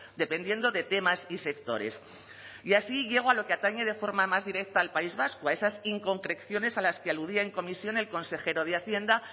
dependiendo de temas y sectores y así llego a lo que atañe de forma más directa al país vasco a esas inconcreciones a las que aludía en comisión el consejero de hacienda